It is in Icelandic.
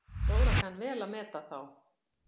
Dóra kann vel að meta þá.